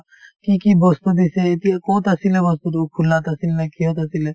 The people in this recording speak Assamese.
কি কি বস্তু দিছে এতিয়া কত আছিলে বস্তুতো খোলাত আছিল নে কিহত আছিলে